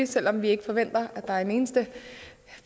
selv om vi ikke forventer at der er en eneste